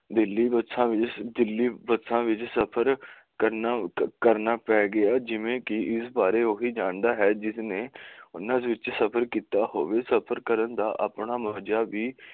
ਦਿੱਲੀ ਬੱਸਾਂ ਵਿਚ ਸਫਰ ਕਰਨਾ ਪੈ ਗਿਆ ਜਿਵੇ ਕਿ ਇਸ ਬਾਰੇ ਉਹੀ ਜਾਣਦਾ ਹੈ ਜਿਸ ਨੇ ਉਹਨਾਂ ਵਿੱਚ ਸਫਰ ਕਿੱਤਾ ਹੋਵੇ ਸਫਰ ਕਰਨ ਦਾ ਆਪਣਾ ਮਹਜਾ ਵੀ